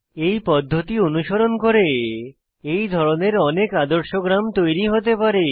এই পদ্ধতি অনুসরণ করে এই ধরনের অনেক আদর্শ গ্রাম তৈরী হতে পারে